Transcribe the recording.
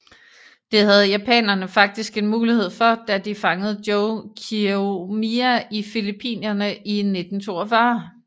Det havde japanerne faktisk en mulighed for da de fangede Joe Kieyoomia i Filippinerne i 1942